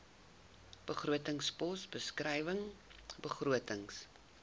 begrotingspos beskrywing begrotings